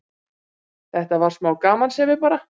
Þetta var smá gamansemi bara.